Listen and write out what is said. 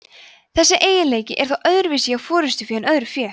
þessi eiginleiki er þó öðruvísi hjá forystufé en öðru fé